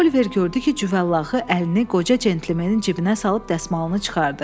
Oliver gördü ki, cüvəllağı əlini qoca cəntləmenin cibinə salıb dəsmalını çıxardı.